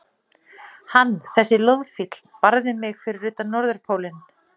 Hann, þessi loðfíll, barði mig fyrir utan Norðurpólinn.